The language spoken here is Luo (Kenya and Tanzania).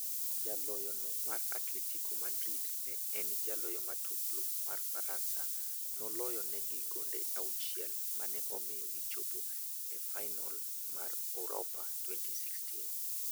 Jaloyono mar Atletico Madrid ne en jaloyo matuklu mar Faransa noloyo negi gonde 6 mane omiyo gi chopo e fainol mar Uropa 2016.